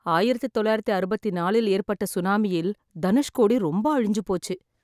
ஆயிரத்து தொள்ளாயிரத்து அறுபத்து நாலில் ஏற்பட்ட சுனாமியில் தனுஷ்கோடி ரொம்ப அழிஞ்சு போச்சு.